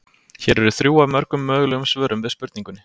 Hér eru þrjú af mörgum mögulegum svörum við spurningunni.